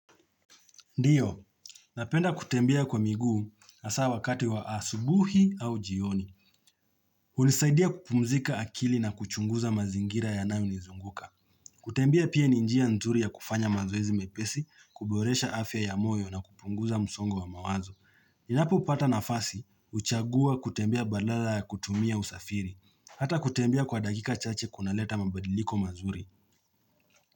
Ndiyo, napenda kutembea kwa miguu hasaa wakati wa asubuhi au jioni. Unisaidia kupumzika akili na kuchunguza mazingira ya nayo nizunguka. Kutembea pia ninjia nzuri ya kufanya mazoezi mepesi, kuboresha afya ya moyo na kupunguza msongo wa mawazo. Ninapo pata nafasi, kuchagua kutembea badala ya kutumia usafiri. Hata kutembea kwa dakika chache kunaleta mabadiliko mazuri.